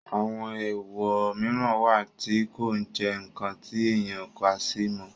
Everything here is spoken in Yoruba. àwọn èwọ̀ mìíràn wà tí kò ní jẹ́ ǹkan tí èèyàn ń kàsí mọ́